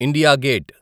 India gate